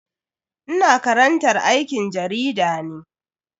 Ina karantar aikin jarida ne.